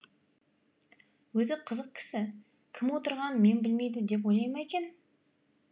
өзі қызық кісі кім отырғанын мен білмейді деп ойлай ма екен